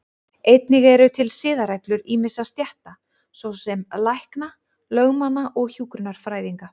Einnig eru til siðareglur ýmissa stétta, svo sem lækna, lögmanna og hjúkrunarfræðinga.